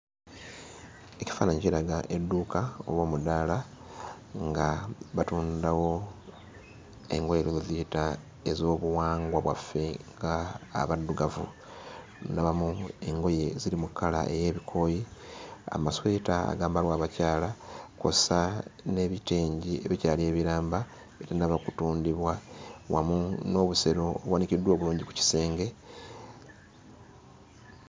Ekifaananyi kiraga edduuka oba omudaala nga batundawo engoye oyinza ozziyita ez'obuwangwa bwaffe ng'Abaddugavu. Ndabamu engoye ziri mu kkala ey'ebikooyi, amasweta agambalwa abakyala kw'ossa n'ebitengi ebikyali ebiramba ebitannaba kutundibwa wamu n'obusero obuwanikiddwa obulungi ku bisenge.